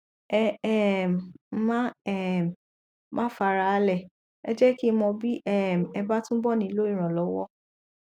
ẹ um má um má fara á lẹ ẹ jẹ kí n mọ bí um ẹ bá túbọ nílò ìrànlọwọ